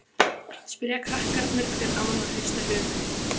spyrja krakkarnir hver annan og hrista höfuðið.